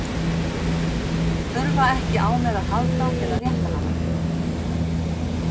Þurfa ekki á mér að halda til að rétta hana.